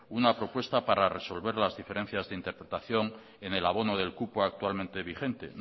una propuesta para resolver las diferencias de interpretación en el abono del cupo actualmente vigente